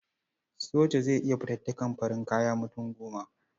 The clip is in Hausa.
Soja zai iya fatattaka farin kaya mutum goma.